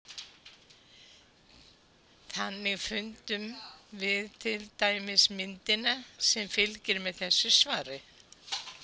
Þannig fundum við til dæmis myndina sem fylgir með þessu svari.